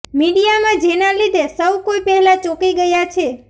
મીડિયામાં જેનાં લીધે સૌ કોઈ પહેલા ચોંકી ગયા છે